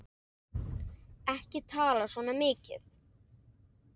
Ekki tala svona mikið!